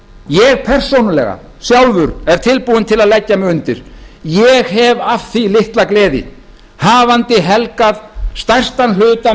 ég persónulega sjálfur er tilbúinn til að leggja mig undir ég hef af því litla gleði hafandi helgað stærstan hluta